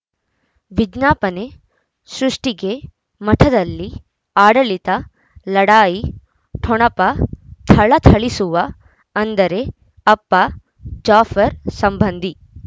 ವಿಜ್ಞಾಪನೆ ಸೃಷ್ಟಿಗೆ ಮಠದಲ್ಲಿ ಆಡಳಿತ ಲಢಾಯಿ ಠೊಣಪ ಥಳಥಳಿಸುವ ಅಂದರೆ ಅಪ್ಪ ಜಾಫರ್ ಸಂಬಂಧಿ